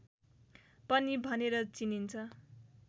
पनि भनेर चिनिन्छ